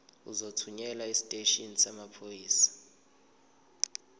uzothunyelwa esiteshini samaphoyisa